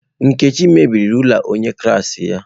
Nkechi mebiri rula onye klaasị ya.